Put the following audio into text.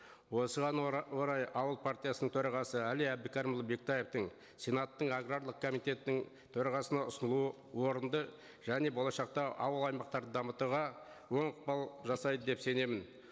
осыған орай ауыл партиясының төрағасы әли әбдікәрімұлы бектаевтің сенаттың аграрлық комитеттің төрағасына ұсынылуы орынды және болашақта ауыл аймақтарды дамытуға оң ықпал жасайды деп сенемін